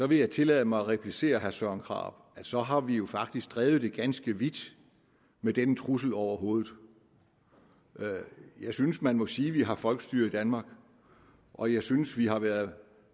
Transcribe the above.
vil jeg tillade mig at replicere herre søren krarup at så har vi jo faktisk drevet det ganske vidt med denne trussel over hovedet jeg synes man må sige at vi har folkestyre i danmark og jeg synes at vi har været